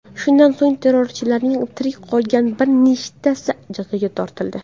Shundan so‘ng terrorchilarning tirik qolgan bir nechtasi jazoga tortildi.